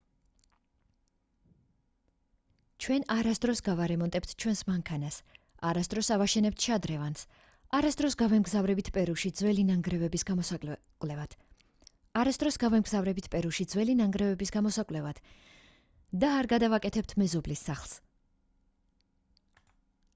ჩვენ არასდროს გავარემონტებთ ჩვენს მანქანას არასდროს ავაშენებთ შადრევანს არასდროს გავემგზავრებით პერუში ძველი ნანგრევების გამოსაკვლევად და არ გადავაკეთებთ მეზობლის სახლს